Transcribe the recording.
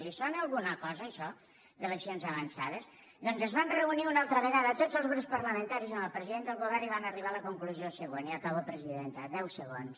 li sona a alguna cosa això d’eleccions avançades doncs es van reunir una altra vegada tots els grups parlamentaris amb el president del govern i van arribar a la conclusió següent i acabo presidenta deu segons